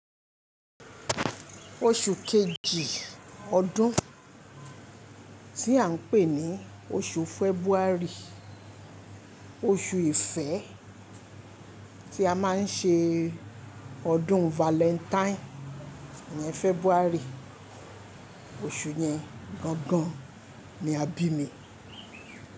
Oṣù kejì ọdún tí à ń pè ní oṣù February, oṣù ìfẹ́ tí a máa ń ṣe ọdún Valentine ni February. Osù yen gangan, ni a bí mi.